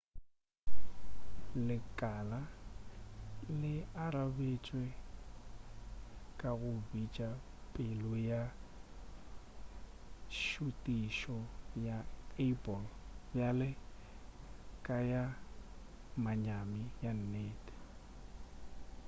lekala le arabetše ka go bitša pego ya šutišo ya apple bjale ka ya manyami ka nnete